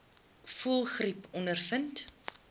voëlgriep ondervind